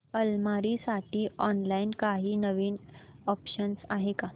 अलमारी साठी ऑनलाइन काही नवीन ऑप्शन्स आहेत का